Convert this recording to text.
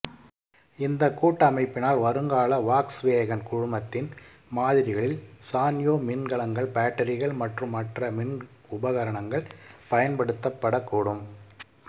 இந்த கூட்டமைப்பினால் வருங்கால வாக்ஸ்வேகன் குழுமத்தின் மாதிரிகளில் சான்யோ மின்கலங்கள் பாட்டரிகள் மற்றும் மற்ற மின் உபகரணங்கள் பயன்படுத்தப்படக் கூடும்